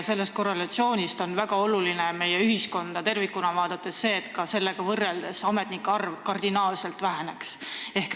Sellest korrelatsioonist rääkides on meie ühiskonda tervikuna vaadates väga oluline see, et ametnike arv kardinaalselt väheneks.